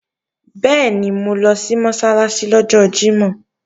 Bẹ́ẹ̀ni, mo lọ sí Mọ́sálásí lọ́jọ́ Jímọ̀